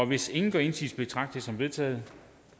hvis ingen gør indsigelse betragter som vedtaget